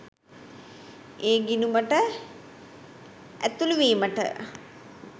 ඒ ගිණුමට ඇතුළු වීමට